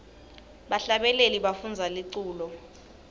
bahlabeleli bafundza liculo